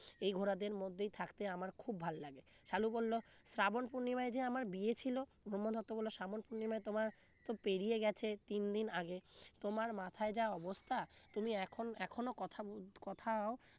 এই ঘোড়াদের মধ্যেই থাকতে আমার খুব ভালো লাগে সালু বলল শ্রাবণ পূর্ণিমায় যে আমার বিয়ে ছিল ব্রহ্মদত্ত বললো শ্রাবণ পূর্ণিমায় তোমার তো পেরিয়ে গেছে তিন দিন আগে তোমার মাথায় যা অবস্থা তুমি এখন এখনো কথা উম কোথাও